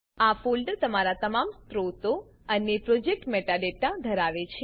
આ ફોલ્ડર તમામ તમારા સ્ત્રોતો અને પ્રોજેક્ટ મેટાડાટા મેટાડેટા ધરાવે છે